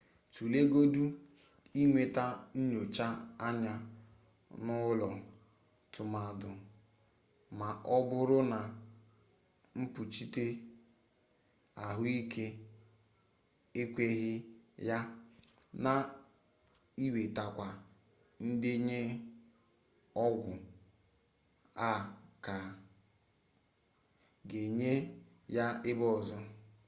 tulegodu inweta nyocha anya n'ụlọ tụmadị ma ọ bụrụ na mkpuchite ahụike ekpuchighị ya na iwetakwa ndenye ọgwụ a ga-enye ya ebe ọzọ